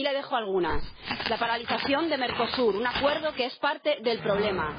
Aquí le dejo algunas la paralización de Mercosur, un acuerdo que es parte del problema